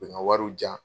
U bɛ n ka wariw di yan